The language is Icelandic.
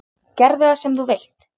Gerðu það sem þú vilt!